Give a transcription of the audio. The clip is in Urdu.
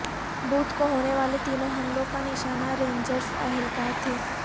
بدھ کو ہونے والے تینوں حملوں کا نشانہ رینجرز اہل کار تھے